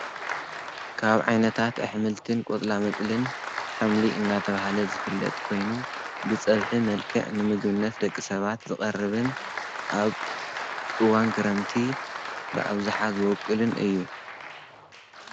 ካብ ዓይነታት ኣሕምልትን ቈፅላ ምጽልን ሓምሊ እናተብሃለ ዝፍለጥ ኮይኑ ብጸብሒ መልከዕ ንምግብነት ደቂ ሰባት ዝቐርብን ኣብ እዋን ክረምቲ ብኣብዙሓ ዝወቅልን እዩ።